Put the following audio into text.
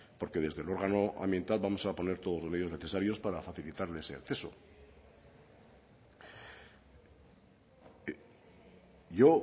porque desde el órgano ambiental vamos a poner todos los medios necesarios para facilitarle ese acceso yo